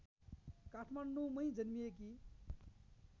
काठमाडौँंमै जन्मिएकी